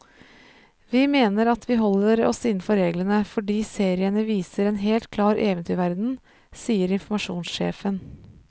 Vi mener at vi holder oss innenfor reglene, fordi seriene viser en helt klar eventyrverden, sier informasjonssjefen.